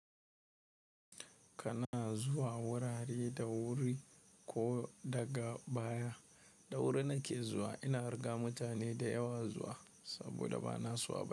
Kana zuwa wurare da wuri ko daga baya? Da wuri nake zuwa, ina riga mutane dayawa zuwa, saboda banaso abani.